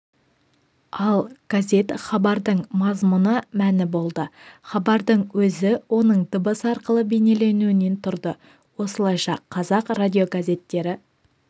ал газет хабардың мазмұны мәні болды хабардың өзі оның дыбыс арқылы бейнеленуінен тұрды осылайша қазақ радиогазеттері